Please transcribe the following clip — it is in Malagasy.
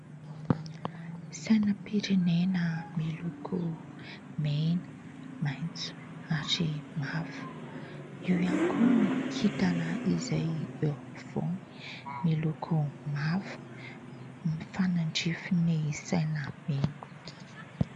Sainam-pirenena miloko mena, maitso ary mavo. Io ihany koa ny kintana izay eo ampovoany miloko mavo mifanandrify ny saina mena.